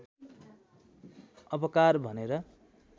अपकार भनेर